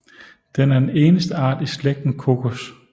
Den er den eneste art i slægten Cocos